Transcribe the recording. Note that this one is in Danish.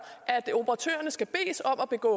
at operatørerne skal bedes om at begå